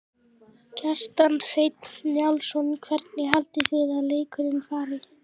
Kjartan Hreinn Njálsson: Hvernig haldið þið að leikurinn fari?